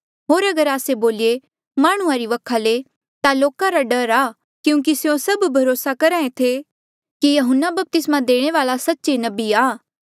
होर अगर आस्से बोलिए माह्णुं वखा ले ता लोका रा डर आ क्यूंकि स्यों सभ भरोसा करहा ऐें थे कि यहून्ना बपतिस्मा देणे वाल्आ सच्चे नबी आ